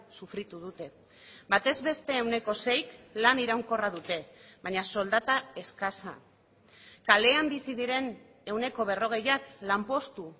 sufritu dute batez beste ehuneko seik lan iraunkorra dute baina soldata eskasa kalean bizi diren ehuneko berrogeiak lanpostu